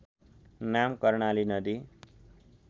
नाम कर्णाली नदी